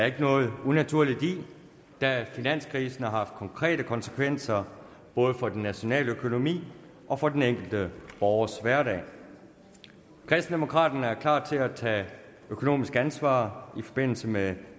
ikke noget unaturligt i da finanskrisen har haft konkrete konsekvenser både for den nationale økonomi og for den enkelte borgers hverdag kristendemokraterne er klar til at tage økonomisk ansvar i forbindelse med